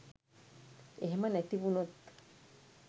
එහෙම නැති උනොත්